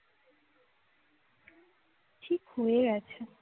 ঠিক হয়ে গিয়েছে